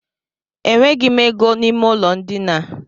E nweghị m ego n'ime ụlọ ndina a.